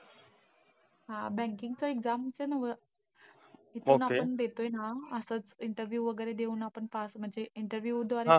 हा. Banking चं exams चं नव्ह. आपण देतोय ना असंच interview वगैरे देऊन आपण, pass म्हणजे, interview द्वारे.